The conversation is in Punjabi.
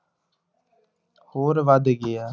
ਹੋਰ ਵੱਧ ਗਿਆ।